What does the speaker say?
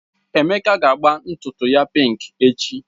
Emeka ga agba ntutu ya pink echi.